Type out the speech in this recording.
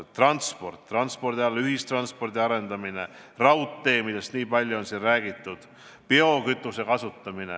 Edasi: transport, transpordi valdkonnas ühistranspordi arendamine, raudteed, millest on nii palju siin räägitud, ja biokütuse kasutamine.